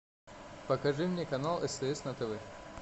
покажи мне канал стс на тв